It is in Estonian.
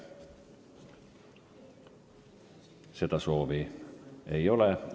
Seda soovi ei ole.